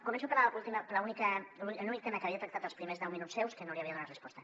començo a parlar de l’únic tema que havia tractat dels primers deu minuts seus que no l’hi havia donat resposta